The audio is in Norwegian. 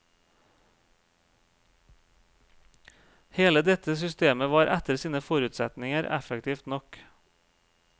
Hele dette systemet var etter sine forutsetninger effektivt nok.